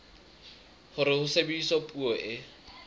hore ho sebediswe puo e